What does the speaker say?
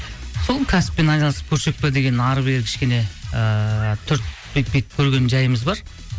сол кәсіппен айналысып көрсек пе деген әрі бері кішкене ыыы түртіп бүйтіп бүйтіп көрген жайымыз бар